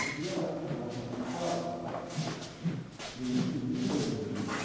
Um dia ela fez um ditado, e eu não tive nenhum erro no ditado.